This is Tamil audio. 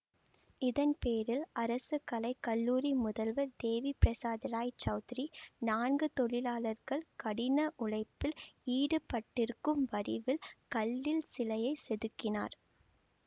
இதன் பேரில் அரசு கலை கல்லூரி முதல்வர் தேவி பிரசாத் ராய் சௌத்ரி நான்கு தொழிலாளர்கள் கடின உழைப்பில் ஈடுப்பட்டிருக்கும் வடிவில் கல்லில் சிலையை செதுக்கினார்